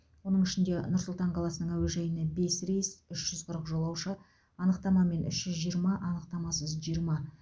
оның ішінде нұр сұлтан қаласының әуежайына бес рейс үш жүз қырық жолаушы анықтамамен үш жүз жиырма анықтамасыз жиырма